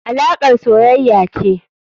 alakar soyaya ce.